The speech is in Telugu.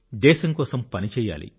దేశం కోసం పని చేయాలి